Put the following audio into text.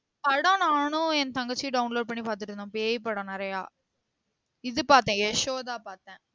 படம் நானும் என் தங்கச்சியும் download பண்ணி பார்த்துட்டு இருந்தோம் பேய் படம் நிறையா இது பார்த்த யசோதா பார்த்த